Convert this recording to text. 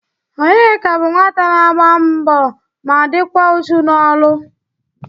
Onyeka bụ nwata na-agba mbọ ma dịkwa uchu n'ọlụ